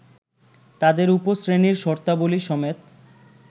তাদের উপশ্রেণীর শর্তাবলী সমেত